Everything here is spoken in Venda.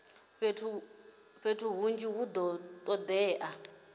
fhethu hunzhi hu do todea